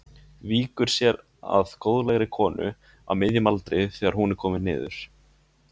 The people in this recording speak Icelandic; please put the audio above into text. Víkur sér að góðlegri konu á miðjum aldri þegar hún er komin niður.